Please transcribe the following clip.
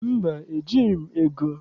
Mba, ejighị m ego.